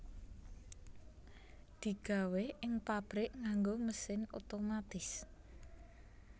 Digawé ing pabrik nganggo mesin otomatis